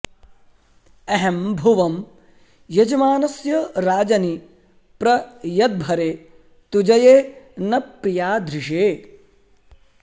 अहं भुवं यजमानस्य राजनि प्र यद्भरे तुजये न प्रियाधृषे